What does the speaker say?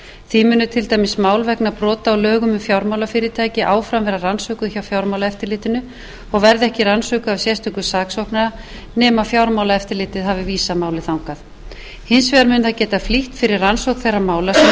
því munu til dæmis mál vegna brota á lögum um fjármálafyrirtæki áfram verða rannsökuð hjá fjármálaeftirlitinu og verða ekki rannsökuð af sérstökum saksóknara nema fjármálaeftirlitið hafi vísað máli þangað hins vegar mun það geta flýtt fyrir rannsókn þeirra mála sem undir sérstakan